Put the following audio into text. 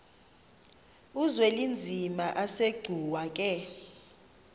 uzwelinzima asegcuwa ke